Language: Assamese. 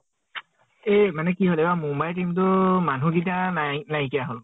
এই মানে কি হল আইবাৰ মুম্বাইৰ team টো মানুহ গিতা নাই নাইকিয়া হল।